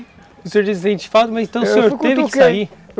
O senhor, mas então o senhor teve que sair.